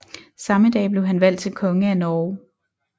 Samme dag blev han valgt til konge af Norge